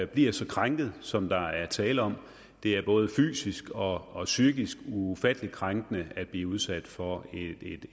bliver så krænket som der er tale om det er både fysisk og og psykisk ufattelig krænkende at blive udsat for